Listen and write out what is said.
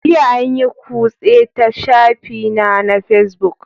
Jiya an yi kutse ta shafina na Facebook